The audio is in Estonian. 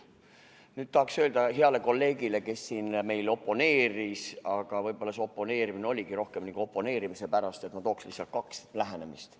Nüüd tahaks öelda heale kolleegile, kes siin meil oponeeris – võib-olla see oponeerimine oligi rohkem nagu oponeerimise pärast –, et ma tooksin esile kaks lähenemist.